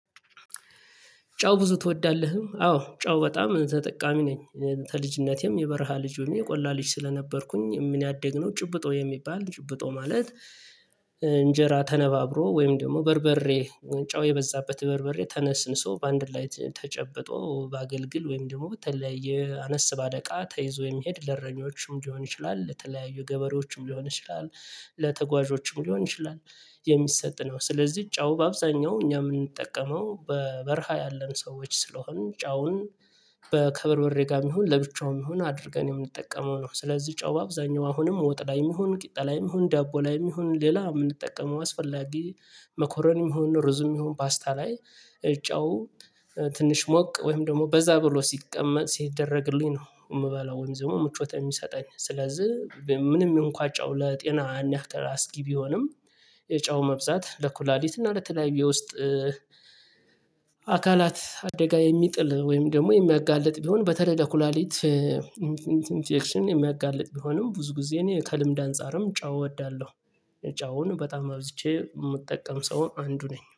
ጨው ብዙ ትወዳለህ? አዎ ጨው በጣም ተጠቃሚ ነኝ። ከልጅነቴም የበረሃ ልጅ የቆላ ልጅ ስለነበርኩኝ ያደግነው ጭብጦ የሚባል ጭብጦ ማለት። እንጀራ ተነባብሮ ወይም ደግሞ በርበሬ ጨው የበዛበት በርበሬ ተነስንሶ በአንድ ላይ ተጨብጦ በአገልግል ወይም ደግሞ በተለያየ አነስ እቃ ተይዞ የሚሄድ ለእረኞችም ሊሆን ይችላል ለተለያዩ ገበሬዎችም ሊሆን ይችላል። ለተጓዦችም ሊሆን ይችላል። የሚሰጥ ነው ስለዚህ ጨው በአብዛኛው እኛ የምንጠቀመው በበረሃ ያለን ሰዎች ስለሆንን ጨውን ከበርበሬ ጋር ይሁን ለብቻውም ይሁን አድርገን የምንጠቀመው ነው። ስለዚህ ጨው በአብዛኛው አሁንም ወጥ ላይም ይሁን ቂጣ ላይም ይሁን ዳቦ ላይም ይሁን ሌላ የምንጠቀመው አስፈላጊ። መኮረኒም ይሁን ሩዝም ይሁን ፓስታ ላይ ጫው ትንሽ ሞቅ ወይም ደግሞ በዛ ብሎ ሲቀመጥ ሲደረግልኝ ነው የምበላው ወይም ደግሞ ምቾት የሚሰጠኝ ስለዚህ ምንም እንኳ ጨው ለጤና አስጊህ ቢሆንም። የጨው መብዛት ለኩላሊት እና ለተለያዩ የውስጥ አካላት አደጋ የሚጥል ወይም ደግሞ የሚያጋልጥ ቢሆን በተለይ ለኩላሊት ኢንፌክሽን የሚያጋልጥ ቢሆንም ብዙ ጊዜ እኔ ከልምድ አንፃርም ጨው እወዳለሁ። ጨውን በጣም አብዝቼ የምጠቀም ሰው አንዱ ነኝ